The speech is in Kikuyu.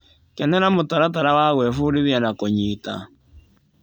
Kenera mũtaratara wa gwĩbundithia na kũnyita.